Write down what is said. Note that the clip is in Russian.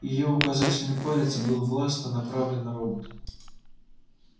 её указательный палец был властно направлен на робота